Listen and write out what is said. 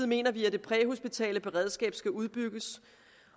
mener vi at det præhospitale beredskab skal udbygges